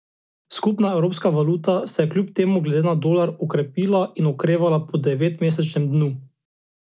Skupna evropska valuta se je kljub temu glede na dolar okrepila in okrevala po devetmesečnem dnu.